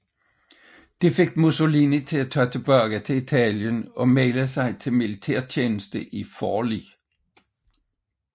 Det fik Mussolini til at tage tilbage til Italien og melde sig til militærtjeneste i Forli